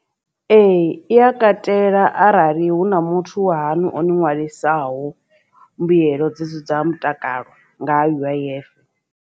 Ee i a katela arali hu na muthu wahaṋu o ni ṅwalisaho mbuyelo dzi si dza mutakalo nga U_I_F.